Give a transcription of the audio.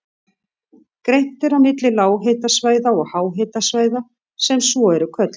Greint er á milli lághitasvæða og háhitasvæða sem svo eru kölluð.